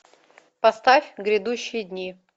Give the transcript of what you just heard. поставь грядущие дни